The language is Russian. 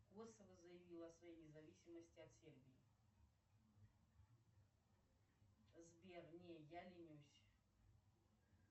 косово заявило о своей независимости от сербии сбер не я ленюсь